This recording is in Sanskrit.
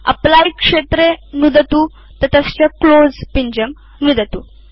एप्ली क्षेत्रे नुदतु ततश्च क्लोज़ पिञ्जं नुदतु